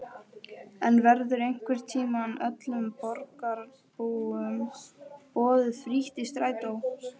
En verður einhvern tímann öllum borgarbúum boðið frítt í strætó?